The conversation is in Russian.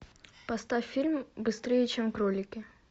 поставь фильм быстрее чем кролики